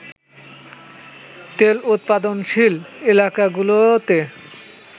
তেল উৎপাদনশীল এলাকাগুলোতে